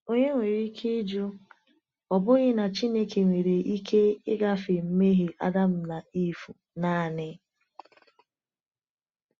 Onye nwere ike ịjụ, ‘Ọ̀ bụghị na Chineke nwere ike ịgafe mmehie Adam na Ivụ naanị?’